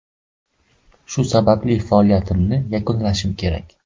Shu sababli faoliyatimni yakunlashim kerak.